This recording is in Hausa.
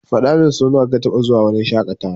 Faɗamin sonawa ka taba zuwa wurin shaƙatawa.